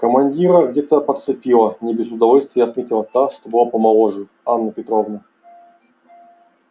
командира где-то подцепила не без удовольствия отметила та что была помоложе анна петровна